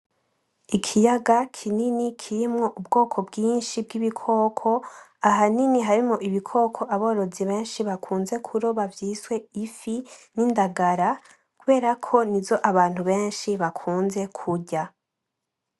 Ikiyaga kinini kirimwo ubwoko bwinshi bwibikoko, ahanini harimwo ibikoko aborozi benshi bakunze kuroba vyiswe ifi nindagara kuberako nizo abantu benshi bakunze kurya .